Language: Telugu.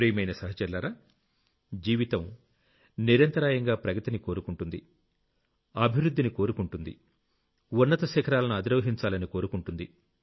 ప్రియమైన సహచరులారా జీవితం నిరంతరాయంగా ప్రగతిని కోరుకుంటుంది అభివృద్ధిని కోరుకుంటుంది ఉన్నత శిఖరాలను అధిరోహించాలని కోరుకుంటుంది